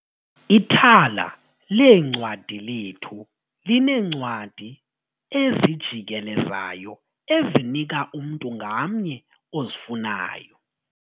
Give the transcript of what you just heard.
Ithala leencwadi lethu lineencwadi ezijikelezayo elizinika umntu ngamnye ozifunayo.